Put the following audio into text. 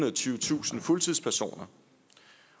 og tyvetusind fuldtidspersoner